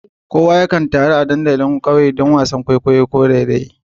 Kowa yakan taru a dandalin kauye a duk lokacin da ake gasar wasan kwaikwayo ko raye-raye.